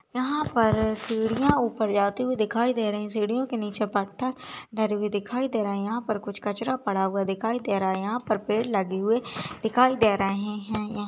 यहाँ पर सीडियो ऊपर जाती हुई दिखाई दे रही सीडियो के नीचे पत्थर डरे हुए दिखाई दे रहे है यहाँ पर कुछ कचरा पड़ा हुआ दिखाई दे रहा है यहाँ पर पेड़ लगे हुए दिखाई दे रहे हैं यहाँ---